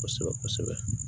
Kosɛbɛ kosɛbɛ kosɛbɛ